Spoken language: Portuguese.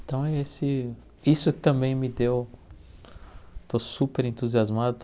Então, esse isso também me deu... Estou super entusiasmado.